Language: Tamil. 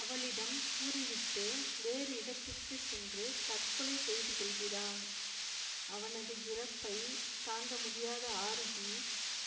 அவளிடம் கூறிவிட்டு வேறு இடத்திற்கு சென்று தற்கொலை செய்துகொள்கிறான் அவனது இறப்பை தாங்க முடியாத ஆரூகி